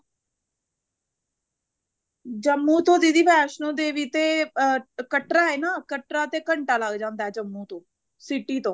ਜੰਮੂ ਤੋਂ ਦੀਦੀ ਵੈਸ਼ਨੂੰ ਦੇਵੀ ਤੇ ਅਹ ਕਟਰਾ ਐ ਨਾ ਕਟਰਾ ਤੋਂ ਘੰਟਾ ਲੱਗ ਜਾਂਦਾ ਜੰਮੂ ਤੋਂ city ਤੋਂ